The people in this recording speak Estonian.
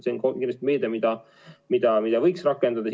See on meede, mida võiks rakendada.